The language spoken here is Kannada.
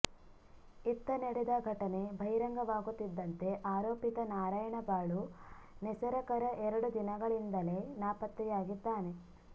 ಇತ್ತ ನಡೆದ ಘಟನೆ ಬಹಿರಂಗವಾಗುತ್ತಿದ್ದಂತೆ ಆರೋಪಿತ ನಾರಾಯಣ ಬಾಳು ನೆಸರಕರ ಎರಡು ದಿನಗಳಿಂದಲೇ ನಾಪತ್ತೆಯಾಗಿದ್ದಾನೆ